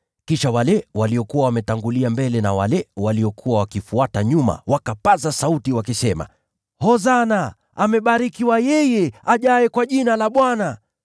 Kisha wale waliokuwa wametangulia mbele na wale waliokuwa wakifuata nyuma wakapaza sauti, wakisema, “Hosana!” “Amebarikiwa yeye ajaye kwa Jina la Bwana!”